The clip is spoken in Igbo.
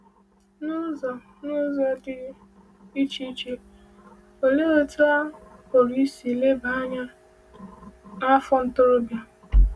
N’ụzọ N’ụzọ dị iche iche, olee otú a pụrụ isi leba anya n’afọ ntorobịa?